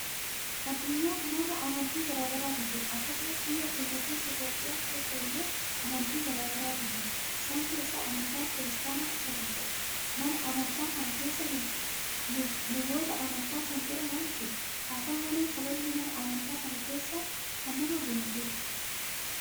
Adunyaa kanarra amantii garaagaratu jira akkasuma biyya keenya Itoophiyaa keessa illee amantii garaagaratu jira isaan keessaa amantaan kiristaanaa isa tokkodha. mana amantaa kana keessa lubboota amantaa kan jedhaman jiru, haata'u malee kabajni mana amantaa kana keessaa kan nama boonsudha.